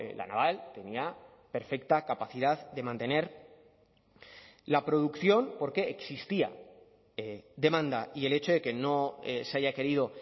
la naval tenía perfecta capacidad de mantener la producción porque existía demanda y el hecho de que no se haya querido